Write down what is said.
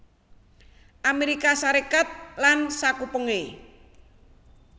Amérika Sarékat lan sakupengé